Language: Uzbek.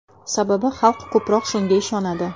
Sababi xalq ko‘proq shunga ishonadi.